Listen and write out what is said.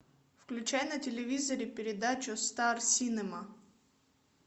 включай на телевизоре передачу стар синема